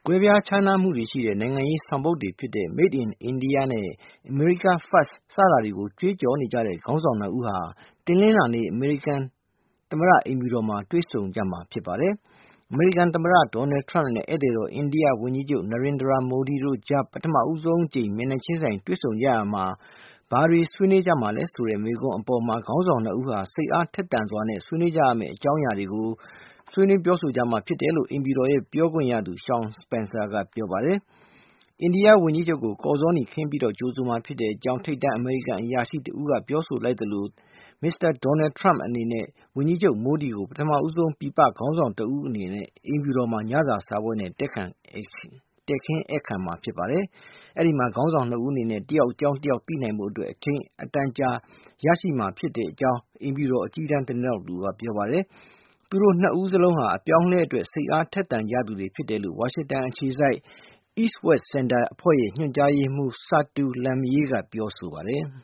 ွဲပြားခြားနားမှုရှိတဲ့ နိုင်ငံရေး ဆောင်ပုဒ် တွေ ဖြစ်တဲ့ Made in India နဲ့ America First တွေကို ကြွေးကြော် နေကြတဲ့ ခေါင်းဆောင် ၂ ဦး တနင်္လာနေ့ အမေရိကန်သမ္မတ အိမ်ဖြူတော်မှာ တွေ့ဆုံကြမှာ ဖြစ်ပါတယ်။ အမေရိကန် သမ္မတ Donald Trump နဲ့ ဧည့်သည်တော် အိန္ဒိယ ဝန်ကြီးချုပ် Narendra Modi တို့ကြား ပထမဆုံးအကြိမ် မျက်နှာချင်းဆိုင် တွေ့ဆုံကြရာမှ ဘာတွေ ဆွေးနွေးကြမှာလည်းဆိုတဲ့ မေးခွန်းအပေါ်မှာ ခေါင်းဆောင် ၂ ဦးဟာ စိတ်အားထက်သန်စွာနဲ့ အပြန်အလှန် ဆွေးနွေးကြမှာ ဖြစ်တယ်လို့ အိမ်ဖြူတော် ပြောခွင့်ရသူ Sean Spicer က ပြောပါတယ်။ အိန္ဒိယဝန်ကြီးချုပ်ကို ကော်ဇောနီခင်းပြီး ကြိုဆိုမှာ ဖြစ်ကြောင်း ထိပ်တန်း အမေရိကန် အရာရှိတဦးက ပြောဆိုလိုက်သလို မစ္စတာ Donald Trump အနေနဲ့ ဝန်ကြီးချုပ် Modi ကို ပထမဦးဆုံး ပြည်ပခေါင်းဆောင် တဦးအနေနဲ့ အိမ်ဖြူတော်မှာ ညစာစားပွဲ နဲ့ တည်ခင်းဧည့်ခံမှာ ဖြစ်ပါတယ်။ အဲဒီမှာ ခေါင်းဆောင် ၂ ဦး အနေနဲ့ တယောက် အကြောင်း တယောက် သိနိုင်စေဖို့ အတွက် အချိန် အတန်ကြာရရှိမှာ ဖြစ်တယ်လို့ အိမ်ဖြူတော် အကြီးတန်း သတင်းထောက် တဦးကပြောပါတယ်။ သူတို့ ၂ ဦးစလုံးဟာ အပြောင်းအလဲအတွက် စိတ်အားထက်သန် ကြသူတွေဖြစ်တယ်လို့ ဝါရှင်တန် အခြေစိုက် East-West Center အဖွဲ့ရဲ့ ညွှန်ကြားရေးမှုး Satu Limyae ကပြောပါတယ်။